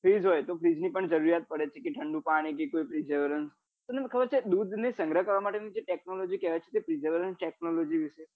બ freeze તો freeze ની પણ જરૂર પડે છે કે ઠંડું પાણી થી કોઈ તમને ખબર છે દૂધ ને સંગ્રહ કરવા માટે ની જે technology કેવાય છે તે technology વિશે